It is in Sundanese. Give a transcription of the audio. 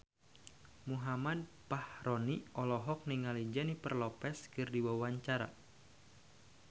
Muhammad Fachroni olohok ningali Jennifer Lopez keur diwawancara